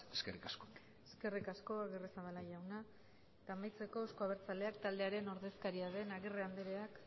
eskerrik asko eskerrik asko agirrezabala jauna eta amaitzeko euzko abertzaleak taldearen ordezkaria den